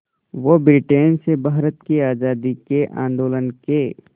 वो ब्रिटेन से भारत की आज़ादी के आंदोलन के